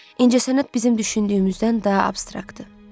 İncəsənət bizim düşündüyümüzdən daha abstraktdır.